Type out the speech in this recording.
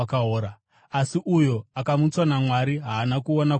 Asi uyo akamutswa naMwari haana kuona kuora.